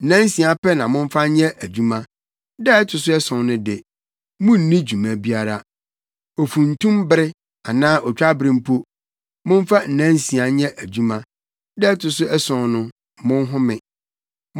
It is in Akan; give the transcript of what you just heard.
“Nnansia pɛ na momfa nyɛ adwuma. Da a ɛto so ason no de, munnni dwuma biara. Ofuntumbere anaa otwabere mpo, momfa nnansia nyɛ adwuma. Da a ɛto so ason no, monhome.